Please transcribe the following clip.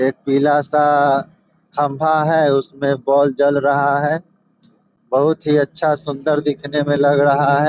एक पीला-सा खंभा है। उसमे बोल जल रहा है। बहुत ही अच्छा सुन्दर दिखने में लग रहा है।